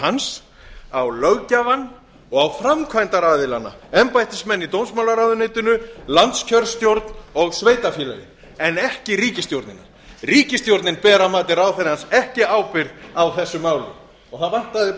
hans á löggjafann og á framkvæmdaraðilana embættismenn í dómsmálaráðuneytinu landskjörstjórn og sveitarfélögin en ekki ríkisstjórnina ríkisstjórnin ber að mati ráðherrans ekki ábyrgð á þessu máli og það vantaði